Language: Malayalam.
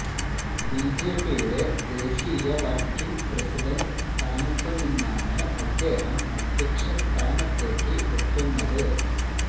ബിജെപിയുടെ ദേശീയ വര്ക്കിംഗ് പ്രസിഡന്റ് സ്ഥാനത്തു നിന്നാണ് അദ്ദേഹം അദ്ധ്യക്ഷ സ്ഥാനത്തേക്ക് എത്തുന്നത്